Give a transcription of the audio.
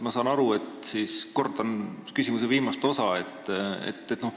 Kordan siis oma küsimuse viimast osa.